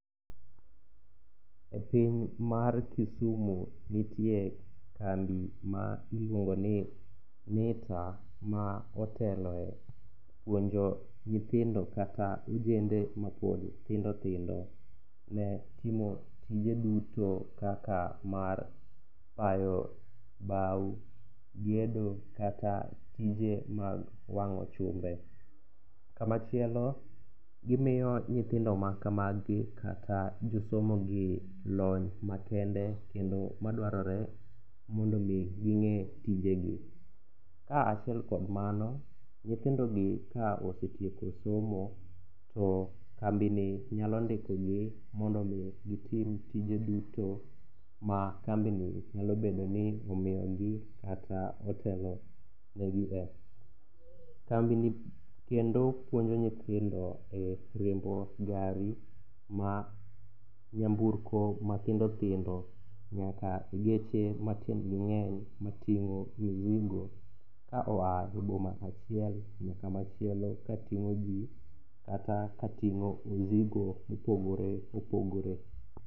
E piny mar Kisumu nitie kambi ma iluongo ni NITA ma oteloe puonjo nyithinjo kata ojende mapod tindo tindo ne timo tije duto kaka mar payo baw, gedo kata tije mag wang'o chumbe. Kamachielo gimiyo nyithindo makamagi kata josomogie lony makende kendo madwarore mondo mi ging'e tije gi. Ka achiel kuom mano, nyithindo gi ka osetieko somo to kambi ni nyalo ndiko gi mondo mi gitim tije duto ma kambi ni nyalobedo ni omiyo gi kata otelo negi e. Kambi ni kendo puonjo nyithindo e riembo gari ma nyamburko ma tindo tindo nyaka geche matiend gi ng'eny matingo misigo ka oa e boma achiel nyaka machielo kating'o ji kata katingo misigo mopogore opogore.